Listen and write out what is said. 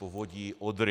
Povodí Odry.